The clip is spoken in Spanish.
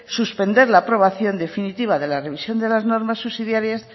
suspender la aprobación definitiva de la revisión de las normas subsidiarias